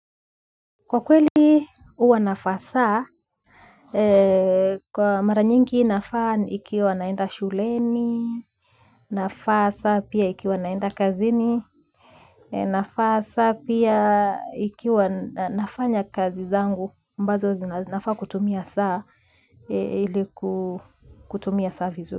Kwa kweli huwa navaa saa, kwa mara nyingi navaa ikiwa naenda shuleni, navaa saa pia ikiwa naenda kazini, navaa saa pia ikiwa nafanya kazi zangu, ambazo nafaa kutumia saa ili kutumia saa vizuri.